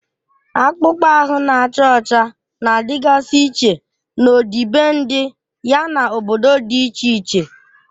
Akpụkpọ ahụ na-acha ọcha na-adịgasị iche n'ọdịbendị, yana obodo dị iche iche.